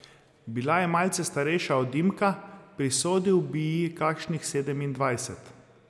Bila je malce starejša od Dimka, prisodil bi ji kakšnih sedemindvajset.